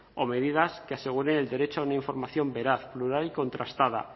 o medidas que aseguren el derecho a una información veraz plural y contrastada